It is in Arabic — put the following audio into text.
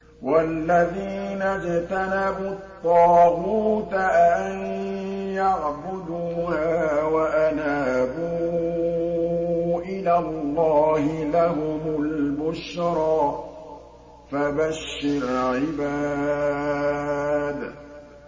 وَالَّذِينَ اجْتَنَبُوا الطَّاغُوتَ أَن يَعْبُدُوهَا وَأَنَابُوا إِلَى اللَّهِ لَهُمُ الْبُشْرَىٰ ۚ فَبَشِّرْ عِبَادِ